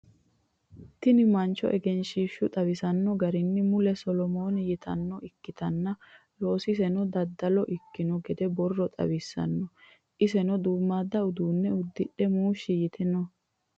tini mancho egenshiishshu xawisanno garinni mulu solomoni yinannita ikkitanna, loosiseno daddalo ikkino gede borro xawissanno. iseno duummaadda uduunne uddidhe muushshi yite no.